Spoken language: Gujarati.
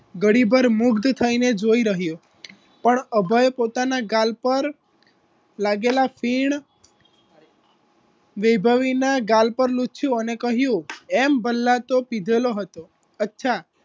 ઘડી ભર મુગ્ધ થઇને જોઈ રહ્યો પણ અભય પોતાના ગાલ પર લાગેલા ફીણ વૈભવીના ગાલ પર લુછયો અને કહ્યુ એમ ભલ્લા તો પીધેલો હતો